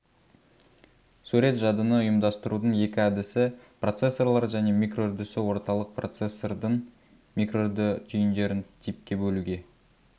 сурет жадыны ұйымдастырудың екі әдісі процессорлар және микроүрдісі орталық процессордың микроүрді түйіндерін типке бөлуге